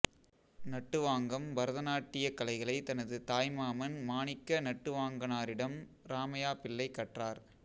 நட்டுவாங்கம் பரதநாட்டியக் கலைகளை தனது தாய் மாமன் மாணிக்க நட்டுவாங்கனாரிடம் இராமையா பிள்ளை கற்றார்